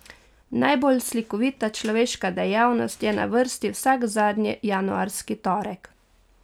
Najbolj slikovita človeška dejavnost je na vrsti vsak zadnji januarski torek.